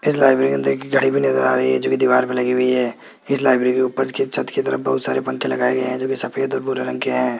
इस लाइब्रेरी के अंदर कि घड़ी भी नजर आ रही है जो की दीवार पर लगी हुई है इस लाइब्रेरी के ऊपर की छत की तरफ बहुत सारे पंखे लगाए गए हैं जो की सफेद और भूरे रंग के हैं।